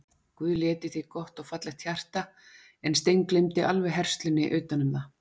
Guð lét í þig gott og fallegt hjarta en steingleymdi alveg herslunni utanum það.